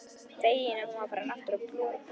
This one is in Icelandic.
Feginn að hún var farin að brosa aftur.